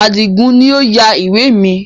Adigun ni ó yà ìwé mi